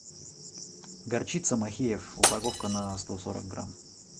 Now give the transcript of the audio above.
горчица махеев упаковка на сто сорок грамм